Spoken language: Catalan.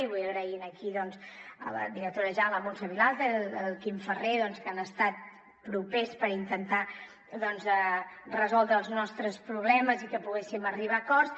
i vull donar les gràcies aquí doncs a la directora la muntsa vilalta el quim ferrer que han estat propers per intentar resoldre els nostres problemes i que poguéssim arribar a acords